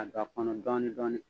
Ka don a kɔnɔ dɔɔnin dɔɔnin